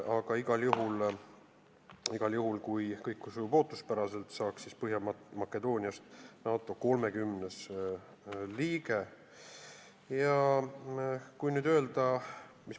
Aga igal juhul, kui kõik sujub ootuspäraselt, saab Põhja-Makedooniast NATO 30. liige.